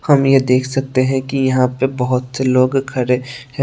हम ये देख सकते है कि यहां पे बहुत से लोग खड़े है।